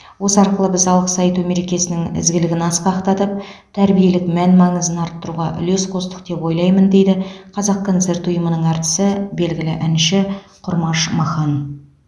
осы арқылы біз алғыс айту мерекесінің ізгілігін асқақтатып тәрбиелік мән маңызын арттыруға үлес қостық деп ойлаймын дейді қазақконцерт ұйымының әртісі белгілі әнші құрмаш махан